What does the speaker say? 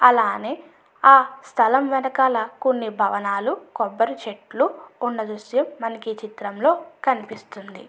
అలానే ఆ స్థలం వెనకాల కొన్ని భవనాలు కొబ్బరి చెట్లు ఉన్న దృశ్యం మనకి ఈ చిత్రంలో కనిపిస్తుంది.